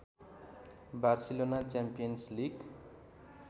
Barcelona champions league